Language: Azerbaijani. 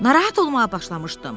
Narahat olmağa başlamışdım.